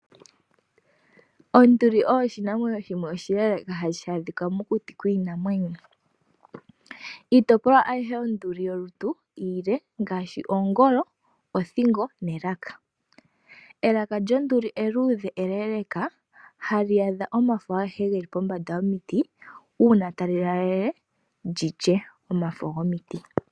Oonduli oyo oshinamwenyo shimwe oshi leleka hashi adhika mokuti kiinamwenyo. Iitopolwa ayihe yonduli iile ngaashi ongolo, othingo noshowo elaka. Elaka lyonduli eluudhe eleeleka hali adha omafo agehe geli pombanda yomiti uuna tali laalele lyi lye omafo gomiti.